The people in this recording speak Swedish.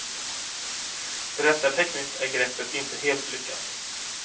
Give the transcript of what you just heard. Berättartekniskt är greppet inte helt lyckat.